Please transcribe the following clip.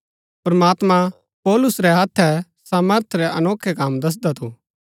प्रमात्मां पौलुस रै हत्थै सामर्थ रै अनोखै कम दसदा थु